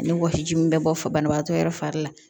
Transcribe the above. Ni wɔsi ji min bɛ bɔ fabana fari la